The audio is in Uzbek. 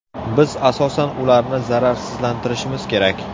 Biz asosan ularni zararsizlantirishimiz kerak.